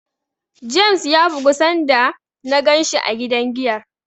James ya bugu sanda na ganshi a gidan giyar.